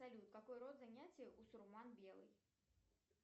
салют какой род занятий у сурман белый